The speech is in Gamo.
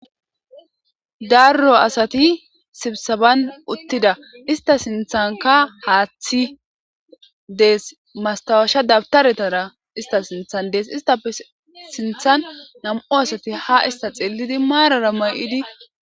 Darro asati sibsaban uttida ista sinthanka haaththi dees mastawasha dabtaretara ista sinthan dees istape sinthan nam'o asati ha ista xeelidi maarara may'idi.